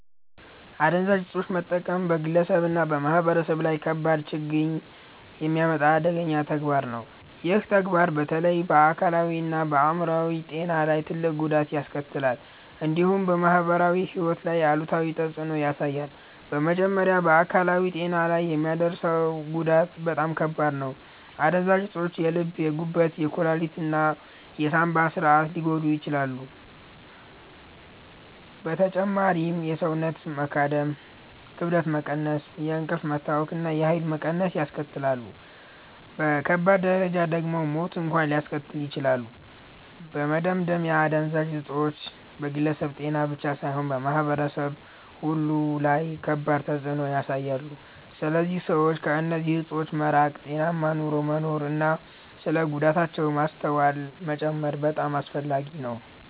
አደንዛዥ እፆችን መጠቀም በግለሰብ እና በማህበረሰብ ላይ ከባድ ችግኝ የሚያመጣ አደገኛ ተግባር ነው። ይህ ተግባር በተለይ በአካላዊ እና በአይምሮ ጤና ላይ ትልቅ ጉዳት ያስከትላል፣ እንዲሁም በማህበራዊ ሕይወት ላይ አሉታዊ ተፅዕኖ ያሳያል። በመጀመሪያ በአካላዊ ጤና ላይ የሚያመጣው ጉዳት በጣም ከባድ ነው። አደንዛዥ እፆች የልብ፣ የጉበት፣ የኩላሊት እና የሳንባ ስርዓትን ሊጎዱ ይችላሉ። በተጨማሪም የሰውነት መዳከም፣ ክብደት መቀነስ፣ የእንቅልፍ መታወክ እና የኃይል መቀነስ ያስከትላሉ። በከባድ ደረጃ ደግሞ ሞት እንኳን ሊያስከትሉ ይችላሉ። በመደምደሚያ አደንዛዥ እፆች በግለሰብ ጤና ብቻ ሳይሆን በማህበረሰብ ሁሉ ላይ ከባድ ተፅዕኖ ያሳያሉ። ስለዚህ ሰዎች ከእነዚህ እፆች መራቅ፣ ጤናማ ኑሮ መኖር እና ስለ ጉዳታቸው ማስተዋል መጨመር በጣም አስፈላጊ ነው።